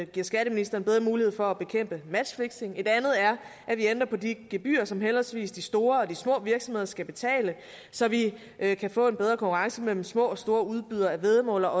giver skatteministeren bedre mulighed for at bekæmpe matchfixing et andet er at vi ændrer på de gebyrer som henholdsvis de store og de små virksomheder skal betale så vi kan få en bedre konkurrence mellem små og store udbydere af væddemål og